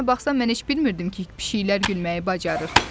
Əslinə baxsan, mən heç bilmirdim ki, pişikləri gülməyi bacarır.